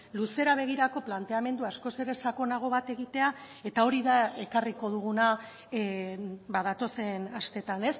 luzera begirako planteamendu askoz ere sakonago bat egitea eta hori da ekarriko duguna datozen asteetan